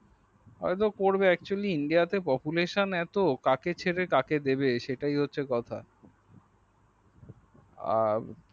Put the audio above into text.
হয়তো করবে actually India তে population এত কাকে ছেড়ে কাকে দিবে সেটাই হচ্ছে কথা।